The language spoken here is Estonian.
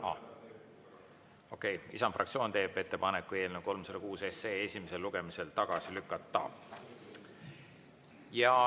Noh okei, Isamaa fraktsioon teeb ettepaneku eelnõu 306 esimesel lugemisel tagasi lükata.